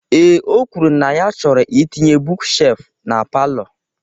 Ee, o kwuru na ya chọrọ itinye buuk shelfụ na palọ.